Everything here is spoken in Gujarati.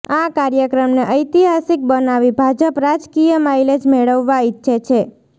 આ કાર્યકમને ઐતિહાસિક બનાવી ભાજપ રાજકીય માઇલેજ મેળવવા ઇચ્છે છે